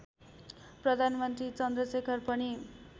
प्रधानमन्त्री चन्द्रशेखर पनि